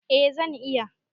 Eh zan iya.